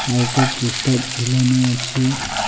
আর একটা পোস্টার ঝুলানো আছে .